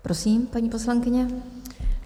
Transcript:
Prosím, paní poslankyně.